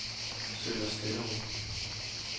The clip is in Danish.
Sønder Stenderup